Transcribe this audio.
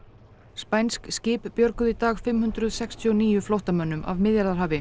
spænsk skip björguðu í dag fimm hundruð sextíu og níu flóttamönnum af Miðjarðarhafi